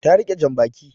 Ta rike jan baki